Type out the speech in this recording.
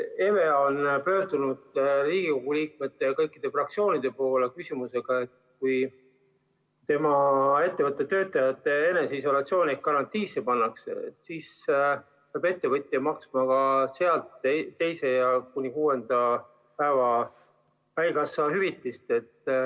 EVEA on pöördunud Riigikogu liikmete ja kõikide fraktsioonide poole küsimusega, et kui ettevõtte töötajad eneseisolatsiooni ehk karantiini pannakse, siis peab ettevõtja maksma ka teise kuni kuuenda päeva eest haigushüvitist.